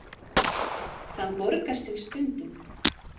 Það borgar sig stundum.